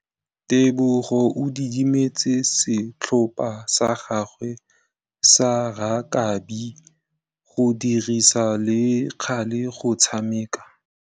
Tebogô o dumeletse setlhopha sa gagwe sa rakabi go dirisa le galê go tshameka.